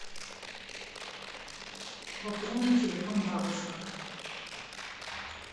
пополнить телефон бабушка